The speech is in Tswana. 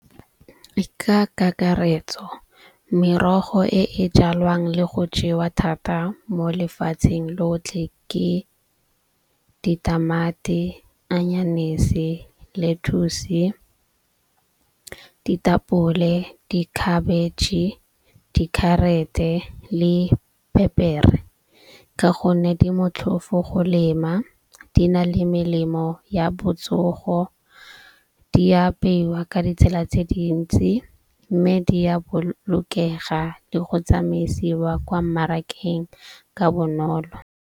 Ka kakaretso merogo e e jalwang le go jewa thata mo lefatsheng lotlhe ke ditamati, anyanese, lettuce, ditapole, dikhabetšhe, dikharete le phepere. Ka gonne di motlhofo go lema, di na le melemo ya botsogo. Di apeiwa ka ditsela tse dintsi. Mme di ya bolokega le go tsamaisiwa kwa mmarakeng ka bonolo.